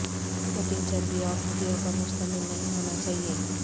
cutting چربی اور ہڈیوں پر مشتمل نہیں ہونا چاہئے